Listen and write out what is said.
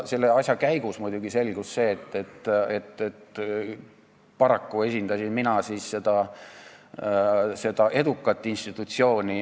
Selle asja käigus muidugi selgus, et paraku esindasin mina seda edukat institutsiooni.